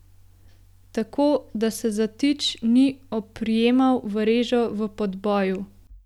Tako, da se zatič ni oprijemal v režo v podboju.